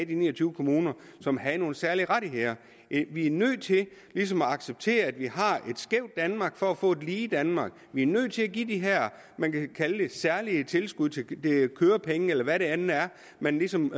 de ni og tyve kommuner som havde nogle særlige rettigheder vi er nødt til ligesom at acceptere at vi har et skævt danmark for at få et lige danmark vi er nødt til at give de her man kan kalde det særlige tilskud kørepenge eller hvad det end er man ligesom